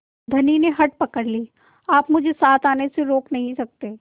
धनी ने हठ पकड़ ली आप मुझे साथ आने से रोक नहीं सकते